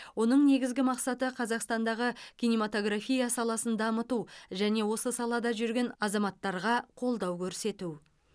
оның негізгі мақсаты қазақстандағы кинематография саласын дамыту және осы салада жүрген азаматтарға қолдау көрсету